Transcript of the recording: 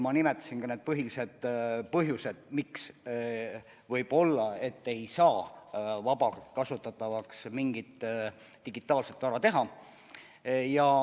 Ma nimetasin ka need põhilised põhjused, miks ei saa võib-olla mingit digitaalset vara vabalt kasutatavaks teha.